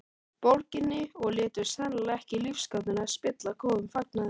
Borginni og létu sennilega ekki lífsgátuna spilla góðum fagnaði.